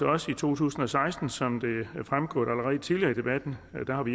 også i to tusind og seksten som det er fremgået allerede tidligere i debatten